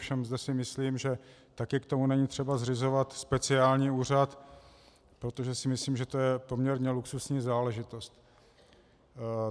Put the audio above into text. Ovšem zde si myslím, že také k tomu není třeba zřizovat speciální úřad, protože si myslím, že to je poměrně luxusní záležitost.